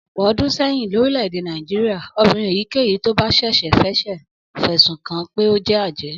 Ọ̀pọ̀ ọdún sẹ́yìn lórílẹ̀-èdè Nàìjíríà, obìnrin èyíkéyìí tó bá ṣẹ̀ṣẹ̀ ṣẹ̀ṣẹ̀ fẹ̀sùn kàn án pé ó jẹ́ ajẹ́